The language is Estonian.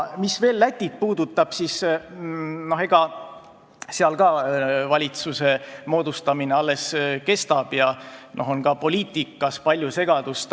Mis veel Lätit puudutab, siis seal valitsuse moodustamine alles kestab ja poliitikas on palju segadust.